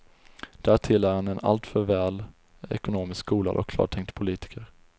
Därtill är han en alltför väl ekonomiskt skolad och klartänkt politiker.